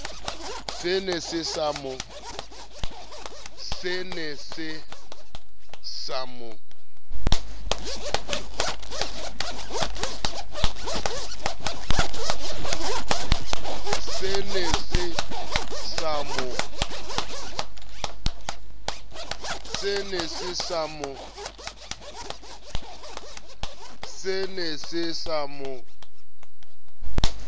se ne se sa mo